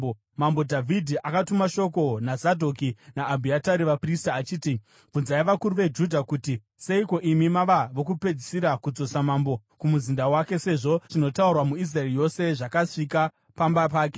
Mambo Dhavhidhi akatuma shoko naZadhoki naAbhiatari, vaprista achiti, “Bvunzai vakuru veJudha kuti, ‘Seiko imi mava vokupedzisira kudzosa mambo kumuzinda wake, sezvo zvinotaurwa muIsraeri yose zvasvika pamba pake.